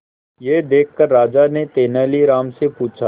यह देखकर राजा ने तेनालीराम से पूछा